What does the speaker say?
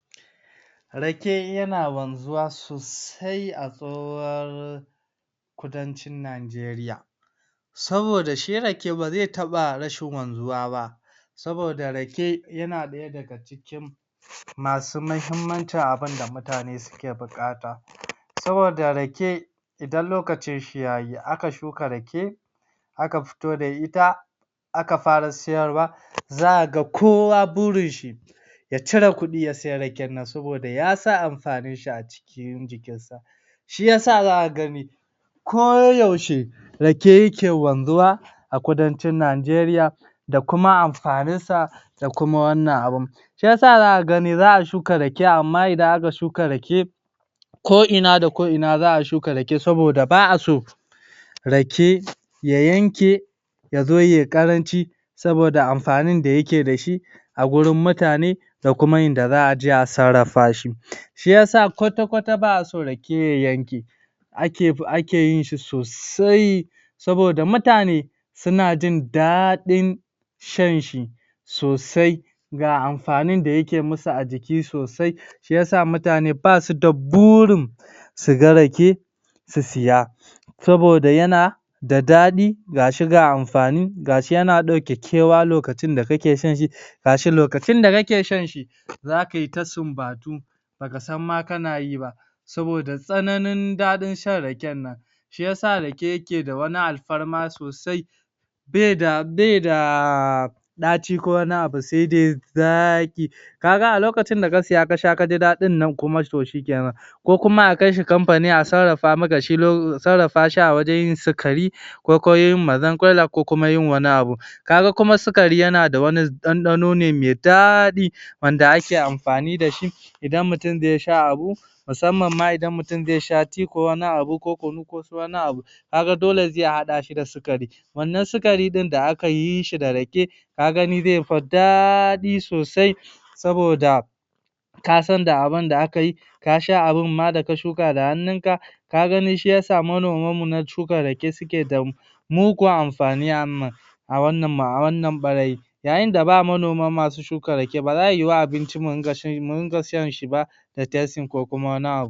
Rake yana wanzuwa sosai a tsohuwar kudancin Najeriya saboda shi Rake baze taɓa rashin wanzuwa ba saboda Rake yana ɗaya daga cikin masu mahimmancin abunda mutane suke buƙata saboda Rake idan lokacin shi ya yi aka shuka Rake aka futo da ita aka fara siyarwa zaka ga kowa burin shi ya cire kuɗi ya siyi Raken nan saboda yasan amfanin shi a cikin jikinsa shiyasa zaka ga me ko yaushe rake yake wanzuwa a kudancin najeriya da kuma amfanin sa da kuma wannan abun shiyasa zaka gani za'a shuka Rake amma idan aka shuka Rake ko ina da ko ina za a shuka Rake saboda ba'a so Rake ya yanke yazo yayi ƙaranci saboda amfanin da yake dashi a gurin mutane dakuma inda za aje a sarrafa shi shiyasa kwata kwata ba'a so Rake ya yanke ake ake yin shi sosai saboda mutane suna jin daɗin shan shi sosai ga amfanin da yake musu a jiki sosai shiyasa mutane basu da burin suga rake su siya saboda yana daɗi gashi ga amfani, gashi yana ɗauke kewa lokacin da kake shan shi gashi lokacin da kake shan shi za kai ta sunbatu bakasan ma kanayi ba saboda tsananin daɗin shan Raken nan shiyasa Rake yake da wani alfarma sosai baida baida daci ko wani abu sai dai zaki kaga a lokacin da kasiya kasha kaji daɗin nan kuma to shikkenan ko kuma akai shi kamfani a sarrafa maka shi lo sarrafa shi a wajan yin sikari ko ko yin mazarkwaila ko kuma yi wani abu kaga kuma sukari yana da wani dandano ne me daɗi Wanda ake amfani dashi idan mutum zai sha abu musamman ma idan mutum zai sha tea ko wani abu ko Kunu ko su wani abu kaga dole zai haɗa shi da sukari wannan sukari ɗin da akayi shi da Rake kaga ni zai fi dadi sosai saboda kasan da abunda akayi kasha abun ma daka shuka da hannunka kaga ni shiyasa manomam mu na shuka rake suke da mugun amfani amm a wannan a wannan barai yayin da ba manoma masu shuka Rake ba zaiyiwu abunci mu dinga dinga shan shi ba da testing ba kokuma wani